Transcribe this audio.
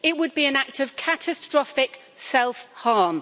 It would be an act of catastrophic self harm.